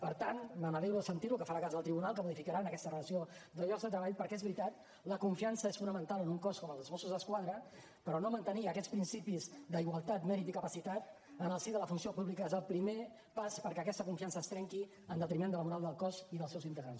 per tant me n’alegro de sentir lo que farà cas del tribunal que modificaran aquesta relació de llocs de treball perquè és veritat la confiança és fonamental en un cos com el dels mossos d’esquadra però no mantenir aquests principis d’igualtat mèrit i capacitat en el si de la funció pública és el primer pas perquè aquesta confiança es trenqui en detriment de la moral del cos i els seus integrants